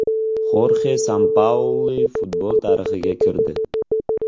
Xorxe Sampaoli futbol tarixiga kirdi.